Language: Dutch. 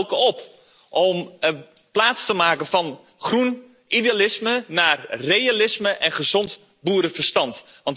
Ik roep dan ook op om over te stappen van groen idealisme naar realisme en gezond boerenverstand.